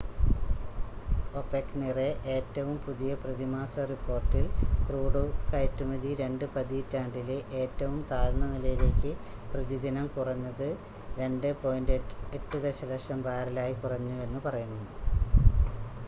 ഒപെക്കിൻ്റെ ഏറ്റവും പുതിയ പ്രതിമാസ റിപ്പോർട്ടിൽ ക്രൂഡ് കയറ്റുമതി രണ്ട് പതിറ്റാണ്ടിലെ ഏറ്റവും താഴ്ന്ന നിലയിലേക്ക് പ്രതിദിനം കുറഞ്ഞ് 2.8 ദശലക്ഷം ബാരലായി കുറഞ്ഞുവെന്ന് പറയുന്നു